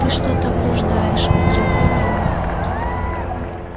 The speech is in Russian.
ты что-то блуждаешь возразил рон